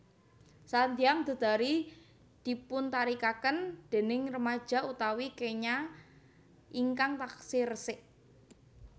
Sanghyang Dedari dipuntarikaken déning remaja utawi kenya ingkang taksih resik